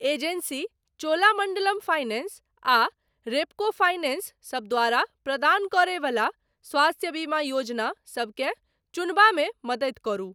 Agency Cholamandalam finance आ Repco finance सब द्वारा प्रदान करय बला स्वास्थ्य बीमा योजना सबकेँ चुनबामे मदति करू।